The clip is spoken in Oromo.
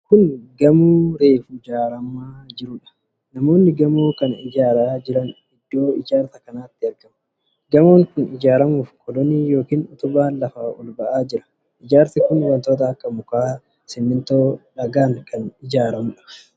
Kun gamoo reefu ijaaramaa jiruudha. Namoonni gamoo kana ijaaraa jiran, iddoo ijaarsa kanaatti argamu. Gamoon kun ijaaramuuf kolonii yookiin utubaan lafaa ol ba'aa jira. Ijaarsi kun wantoota akka mukaa, simintoo fi dhagaadhaan kan ijaaramuudha.